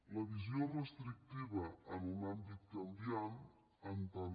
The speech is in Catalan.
la visió restrictiva en un àmbit canviant en tant